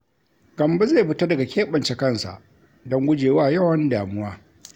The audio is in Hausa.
Gambo zai fita daga keɓance kansa don gujewa yawan damuwa.